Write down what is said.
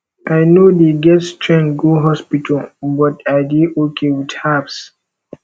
i no dey get strength go hospital but i dey okay with herbs